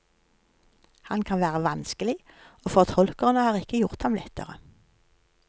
Han kan være vanskelig, og fortolkerne har ikke gjort ham lettere.